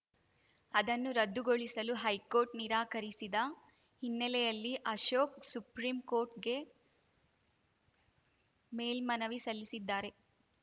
ಅದನ್ನು ರದ್ದುಗೊಳಿಸಲು ಹೈಕೋರ್ಟ್‌ ನಿರಾಕರಿಸಿದ ಹಿನ್ನೆಲೆಯಲ್ಲಿ ಅಶೋಕ್‌ ಸುಪ್ರೀಂಕೋರ್ಟಿಗೆ ಮೇಲ್ಮನವಿ ಸಲ್ಲಿಸಿದ್ದಾರೆ